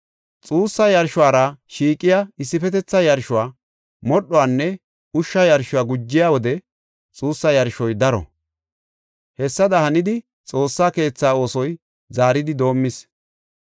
Xuussa yarshora shiiqiya issifetetha yarshuwa, modhuwanne ushsha yarshuwa gujiya wode xuussa yarshoy daro. Hessada hanidi Xoossa keethaa oosoy zaaridi doomis.